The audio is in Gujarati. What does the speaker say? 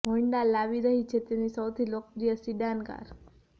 હોન્ડા લાવી રહી છે તેની સૌથી લોકપ્રિય સિડાન કાર